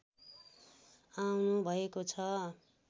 आउनु भएको छ